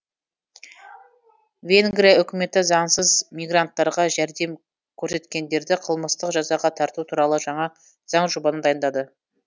венгрия үкіметі заңсыз мигранттарға жәрдем көрсеткендерді қылмыстық жазаға тарту туралы жаңа заңжобаны дайындады